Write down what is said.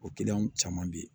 O caman be yen